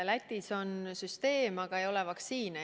Lätis on süsteem, aga ei ole vaktsiine.